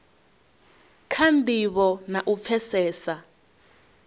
kha ndivho na u pfesesa